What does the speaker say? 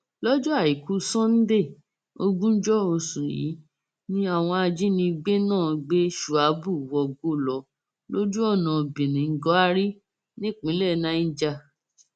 lọjọ àìkú sanńdé ogúnjọ oṣù yìí ni àwọn ajínigbé náà gbé shuabu wọgbó lọ lójú ọnà birnin gwari nípínlẹ niger